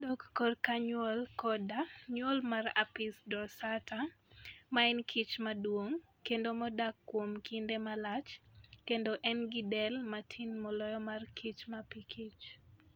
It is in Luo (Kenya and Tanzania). Kodok korka nyuol koda nyuol mar Apis dorsata ma en kich maduong' kendo modak kuom kinde malach, kendo en gi del matin moloyo mar kich mapikich.